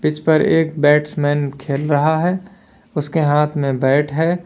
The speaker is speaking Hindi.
पिच पर एक बैट्समैन खेल रहा है उसके हाथ में बैट है।